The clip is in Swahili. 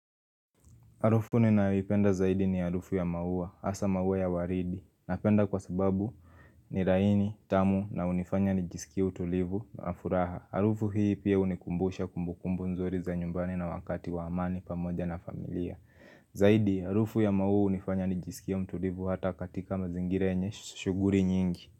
Arufu ninayependa zaidi ni arufu ya maua, hasa maua ya waridi. Napenda kwa sababu ni raini, tamu na unifanya nijisikie utulivu na furaha. Arufu hii pia unikumbusha kumbukumbu nzuri za nyumbani na wakati wa amani pamoja na familia. Zaidi, arufu ya maua hunifanya nijisikie mtulivu hata katika mazingira yenye shuguri nyingi.